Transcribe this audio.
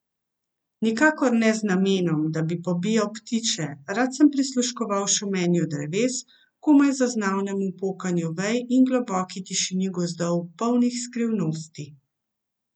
Nikakor ne z namenom, da bi pobijal ptiče, rad sem prisluškoval šumenju dreves, komaj zaznavnemu pokanju vej in globoki tišini gozdov, polnih skrivnosti.